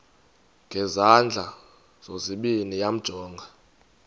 ngezandla zozibini yamjonga